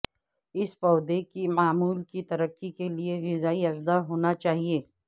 اس پودے کی معمول کی ترقی کے لئے غذائی اجزاء ہونا چاہئے